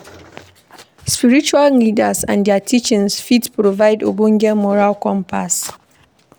Spiritual leaders and their teachings fit provide ogbonge moral compass